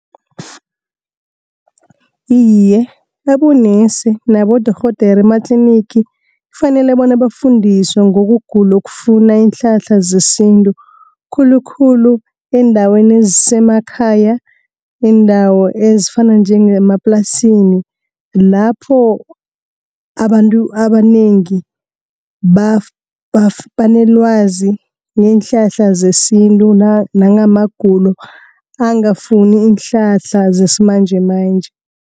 Iye, abonesi nabodorhodere ematlinigi, kufanele bona bafundiswe ngokugula okufuna iinhlahla zesintu. Khulukhulu eendaweni esemakhaya, iindawo ezifana njengemaplasini. Lapho abantu abanengi banelwazi ngeenhlahla zesintu, nangamagulo angafuni iinhlahla zesimanjemanje.